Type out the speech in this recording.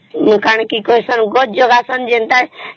କଣ କି କହିସନ ଯେନ୍ତା ଘର ଜାଗା ସନ